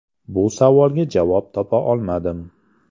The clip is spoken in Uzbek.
Bu savolga javob topa olmadim.